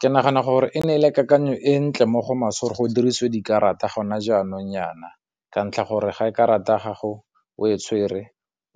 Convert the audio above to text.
ke nagana gore e ne ele kakanyo e ntle mo go maswe go dirisiwe dikarata gona jaanong nyana, ka ntlha gore ga e karata ya gago o e tshwere